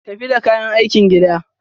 Tafi da kayan aikin gida.